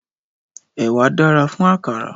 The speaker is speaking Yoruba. Ẹ̀wà dára fún àkàrà.